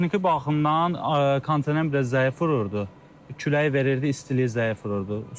Texniki baxımdan kondisioner biraz zəif vururdu, küləyi verirdi, istiliyi zəif vururdu.